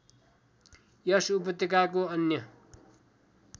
यस उपत्यकाको अन्य